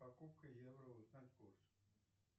покупка евро узнать курс